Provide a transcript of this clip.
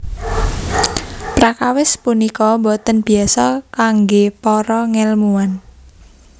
Prakawis punika boten biasa kanggé para ngèlmuwan